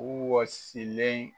U wɔsilen